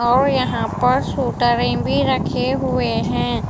और यहाँ पर सूटरें भी रखे हुए हैं।